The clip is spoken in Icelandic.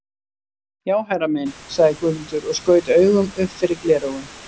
Já herra minn, sagði Guðmundur og skaut augum upp fyrir gleraugun.